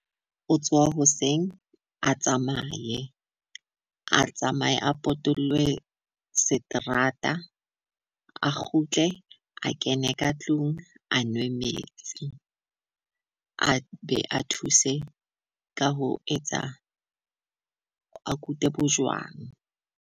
O tsoha hoseng a tsamaye, a tsamaye a potolohe seterata, a kgutle a kene ka tlung a nwe metsi. A be a thuse ka ho etsa a kute bojwang.